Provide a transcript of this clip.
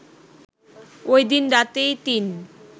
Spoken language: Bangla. ওইদিন রাতেই তিন